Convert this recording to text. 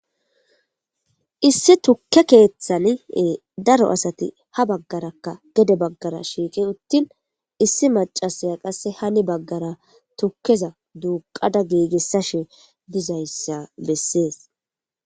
Issi tukke keeththan daro asati ha baggarakka gede baggara shiiqi uttin issi maccasiya qasse hani baggara tukkeza duuqqada giigisashe dizayssa besses.